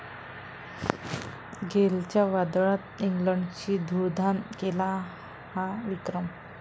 गेलच्या वादळात इंग्लंडची धूळधाण, केला 'हा' विक्रम